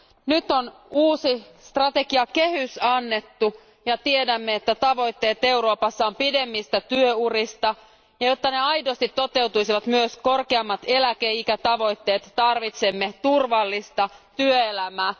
Nyt on uusi strategiakehys annettu, ja tiedämme, että tavoitteet Euroopassa on pidemmistä työurista ja jotta ne aidosti toteutuisivat myös korkeammat eläkeikätavoitteet tarvitsemme turvallista työelämää.